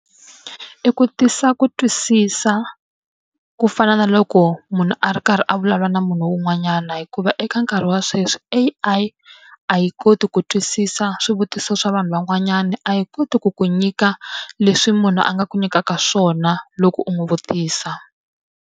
I ku tisa ku twisisa ku fana na loko munhu a ri karhi a vulavula na munhu un'wanyana hikuva eka nkarhi wa sweswi, A_I a yi koti ku twisisa swivutiso swa vanhu van'wanyana, a yi koti ku ku nyika leswi munhu a nga ku nyikaka swona loko u n'wi vutisa.